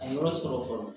A ye yɔrɔ sɔrɔ fɔlɔ